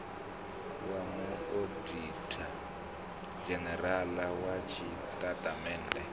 wa muoditha dzhenerala wa zwitatamennde